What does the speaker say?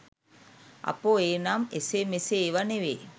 අපෝ ඒ නම් ‍එසේ‍ මෙසේ ඒවා නෙවෙයි